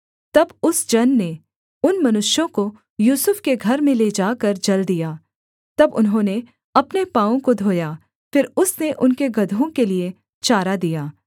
तब उस जन ने उन मनुष्यों को यूसुफ के घर में ले जाकर जल दिया तब उन्होंने अपने पाँवों को धोया फिर उसने उनके गदहों के लिये चारा दिया